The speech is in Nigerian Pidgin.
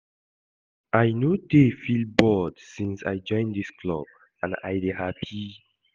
I no dey feel bored since I join dis club and I dey happy